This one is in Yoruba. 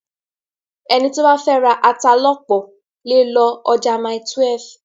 Ẹni tó bá fẹ́ ra ata lọ́pọ̀ lè lọ ọjà Mile12.